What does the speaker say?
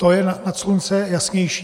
To je nad slunce jasnější.